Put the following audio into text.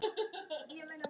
hvítur hótar nú máti.